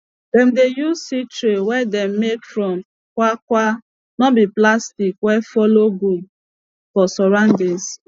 dem dey use seed trays wey dem make from kwakwa no be plastic wey follow good for surroundings